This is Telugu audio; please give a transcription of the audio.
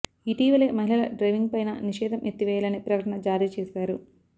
ఇటీవలే మహిళల డ్రైవింగ్ పైన నిషేధం ఎత్తివేయాలనే ప్రకటన జారీ చేశారు